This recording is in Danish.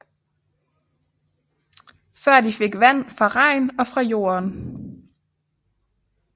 Før fik de vand fra regn og fra jorden